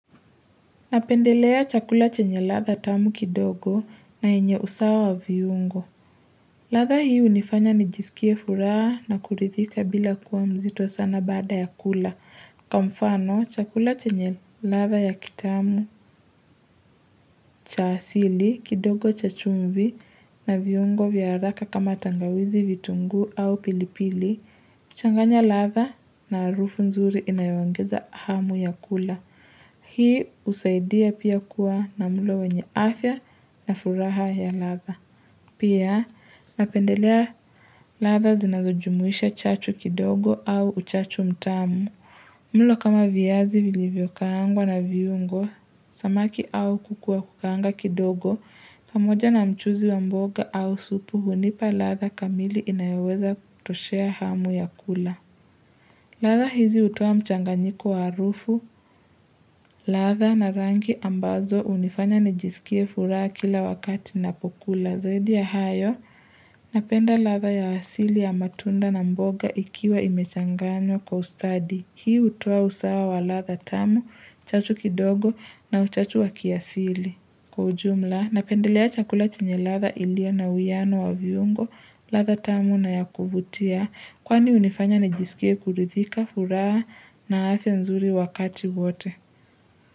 Napendelea chakula chenye radha tamu kidogo na yenye usawa wa viungo. Radha hii hunifanya nijisikie furaha na kuridhika bila kuwa mzito sana baada ya kula. Kwa mfano chakula chenye radha ya kitamu cha asili kidogo cha chumvi na viungo vya haraka kama tangawizi vitunguu au pilipili. Huchanganya latha na harufu nzuri inayoongeza hamu ya kula. Hii husaidia pia kuwa na mulo wenye afya na furaha ya latha. Pia napendelea latha zinazojumuisha chachu kidogo au uchachu mtamu. Mulo kama viazi vilivyokaangwa na viungo samaki au kuku wa kukaanga kidogo pamoja na mchuzi wa mboga au supu hunipa latha kamili inayoweza kutoshea hamu ya kula. Latha hizi hutoa mchanganyiko wa harufu, latha na rangi ambazo hunifanya nijisikie furaha kila wakati napokula zaidi ya hayo, napenda latha ya wasili ya matunda na mboga ikiwa imechanganywa kwa ustadi, hii hutoa usawa wa latha tamu, chachu kidogo na uchachu wa kiasili. Kwa ujumla, napendelea chakula chenye latha ilio na uwiano wa viungo, latha tamu na yakuvutia. Kwani hunifanya nijisikie kuridhika, furaha na afya nzuri wakati wote.